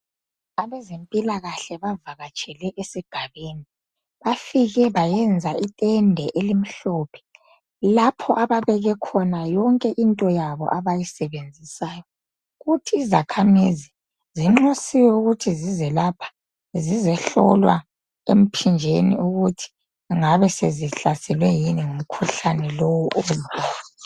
abezempilakahle bavakatshele esigabeni bafike bayenza itente elimhlophe lapho ababeke khona yonke into abayisebenzisayo futhi izakha mizi zinxusiwe ukuthi zizelapha zizohlolwa empimbeni ukuthi zingabe zihlaselwe yini ngumkhuhlane lowo